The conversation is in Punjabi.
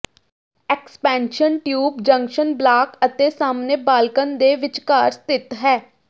ਐਕਸਪੈਂਸ਼ਨ ਟਿਊਬ ਜੰਕਸ਼ਨ ਬਲਾਕ ਅਤੇ ਸਾਹਮਣੇ ਬਾਲਕਨ ਦੇ ਵਿਚਕਾਰ ਸਥਿਤ ਹੈ